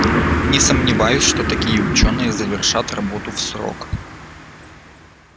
не сомневаюсь что такие учёные завершат работу в срок